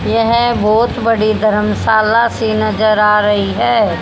येह बहोत बडी धरमशाला सी नजर आ रही है।